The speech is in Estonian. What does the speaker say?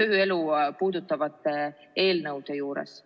tööelu puudutavate eelnõude juures.